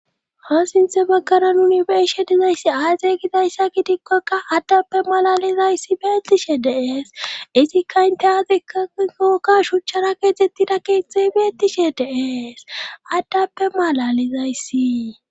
ha sinthe baggara nuni be'ishe dizayssi aazey gidayssa gidikkokka addappe malalizayssi beettishe dees izikka inte aazikkakokka shuchchara keetettida keeththey beettishe dees addappe malalizayssi